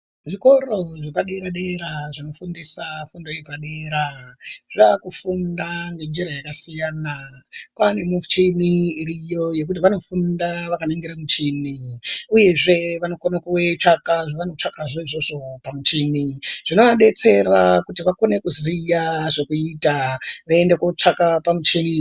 Zvikoro zvepadera dera zvinofundisa fundo yepadera zvaakufunda ngenjira yakasiyana kwaane michini iriyo yekuti vanofunda vakaringira michini uyezve vanokona kutsvaka zvavanotsvaka zvavanotsvakazvo izvozvo pamuchini zvinovadetsera kuti vakone kuziya zvekuita voende kotsvake pamuchini.